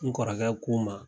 N kɔrɔkɛ ko n ma.